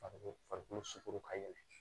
Farikolo farikolo suku ka yɛlɛ